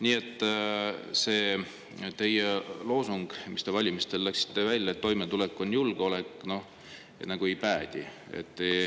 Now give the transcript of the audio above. Nii et see teie loosung, millega te valimistele läksite, et toimetulek on julgeolek, nagu ei päde.